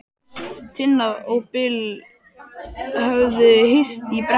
Tinna og Bill höfðu hist í brekkunum.